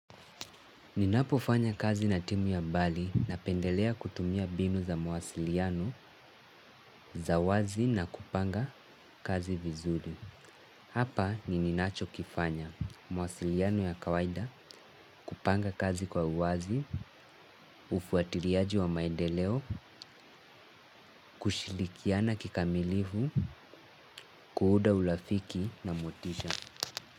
Ninapofanya kazi na timu ya mbali napendelea kutumia binu za mwasiliano za wazi na kupanga kazi vizuri. Hapa ni ninachokifanya mawasiliano ya kawaida kupanga kazi kwa uwazi, ufuatiliaji wa maedeleo, kushilikiana kikamilivu, kuuuda ulafiki na motisha.